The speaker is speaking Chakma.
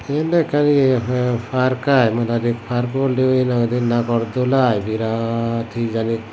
yendw ekkan ye fa fark i mudoide fark oleoi hinang hoide nagor dul i birat hijani.